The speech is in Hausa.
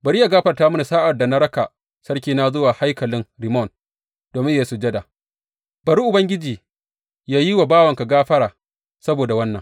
Bari yă gafarta mini sa’ad da na raka sarkina zuwa haikalin Rimmon domin yă yi sujada, bari Ubangiji yă yi wa bawanka gafara saboda wannan.